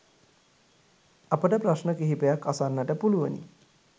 අපට ප්‍රශ්න කිහිපයක් අසන්නට පුලුවනි